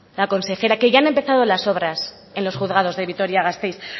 la consejera que ya han empezados las obras en los juzgados de vitoria gasteiz